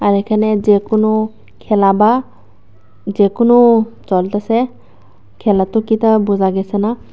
আর এখানে যেকোনো খেলা বা যেকোনো চলতেসে খেলা তো কি তা বোঝা গেছে না